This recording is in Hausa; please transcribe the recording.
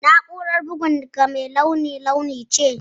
Na'urar bugun ka mai nuna launi ce?